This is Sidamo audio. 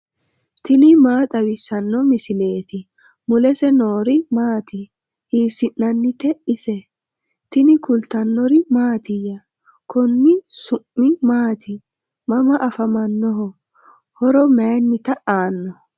tini maa xawissanno misileeti ? mulese noori maati ? hiissinannite ise ? tini kultannori mattiya? Konni su'mi maatti? Mama afammannoho? horo mayiinnitta aanno?